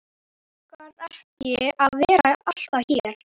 Mig langar ekki að vera alltaf hér.